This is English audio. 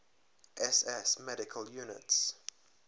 ss medical units